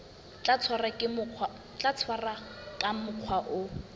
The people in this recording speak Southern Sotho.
tla tshwarwa ka mokgwa o